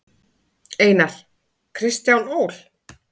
Einar: Kristján Ól.